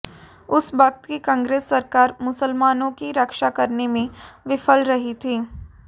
उस वक्त की कांग्रेस सरकार मुसलामनों की रक्षा करने में विफल रही थी